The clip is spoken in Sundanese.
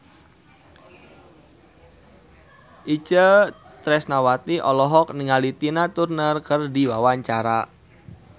Itje Tresnawati olohok ningali Tina Turner keur diwawancara